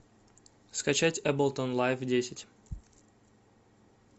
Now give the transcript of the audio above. скачать эблтон лайф десять